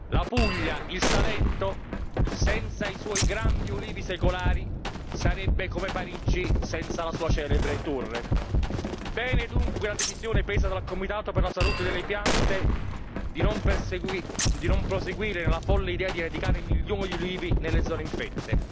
La Puglia e il Salento, senza i loro grandi ulivi secolari, sarebbero come Parigi senza la sua celebre torre. È positiva, dunque, la decisione presa dal Comitato per la salute delle piante di non proseguire nella folle idea di eradicare milioni di ulivi nelle zone infette.